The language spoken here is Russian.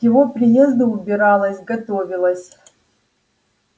к его приезду убиралась готовилась